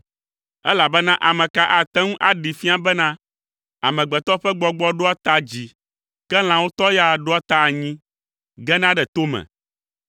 elabena ame ka ate ŋu aɖee fia bena, amegbetɔ ƒe gbɔgbɔ ɖoa ta dzi, ke lãwo tɔ ya ɖoa ta anyi, gena ɖe tome?”